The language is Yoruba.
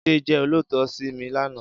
Jide jè ólóòtọ̀ si mi làná